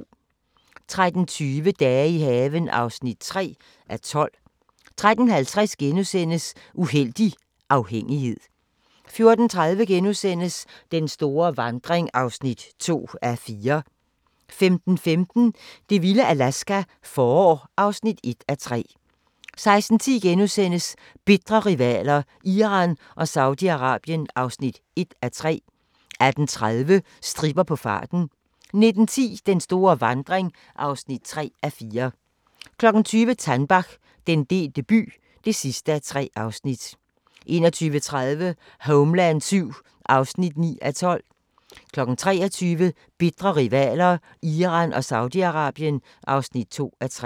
13:20: Dage i haven (3:12) 13:50: Uhellig afhængighed * 14:30: Den store vandring (2:4)* 15:15: Det vilde Alaska – forår (1:3) 16:10: Bitre rivaler: Iran og Saudi-Arabien (1:3)* 18:30: Stripper på farten 19:10: Den store vandring (3:4) 20:00: Tannbach – Den delte by (3:3) 21:30: Homeland VII (9:12) 23:00: Bitre rivaler: Iran og Saudi-Arabien (2:3)